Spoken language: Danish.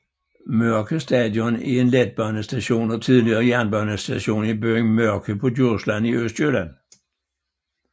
Mørke Station er en letbanestation og tidligere jernbanestation i byen Mørke på Djursland i Østjylland